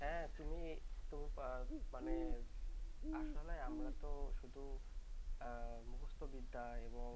হ্যাঁ তুমি তুমি মানে আসলে আমরা তো শুধু মুখস্থ বিদ্যা এবং